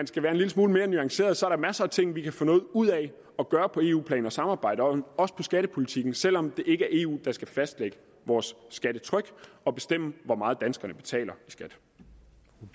skal være en lille smule mere nuanceret der er masser af ting vi kan få noget ud af at gøre på eu plan og samarbejde om også inden skattepolitikken selv om det ikke er eu der skal fastlægge vores skattetryk og bestemme hvor meget danskerne betaler